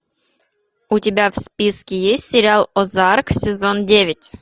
у тебя в списке есть сериал озарк сезон девять